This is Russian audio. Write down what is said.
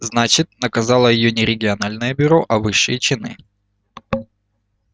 значит наказало её не региональное бюро а высшие чины